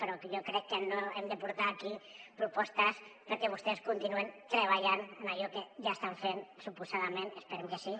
però jo crec que no hem de portar aquí propostes perquè vostès continuïn treballant en allò que ja estan fent suposadament esperem que sí